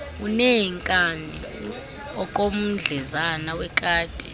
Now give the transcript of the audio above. uneenkani okomdlezana wekati